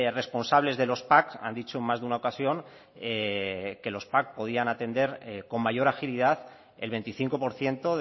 responsables de los pac han dicho en más de una ocasión que los pac podían atender con mayor agilidad el veinticinco por ciento